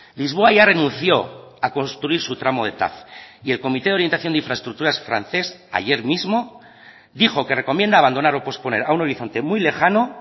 lisboa ya renunció a construir su tramo de tav y el comité de orientación de infraestructuras francés ayer mismo dijo que recomienda abandonar o posponer a un horizonte muy lejano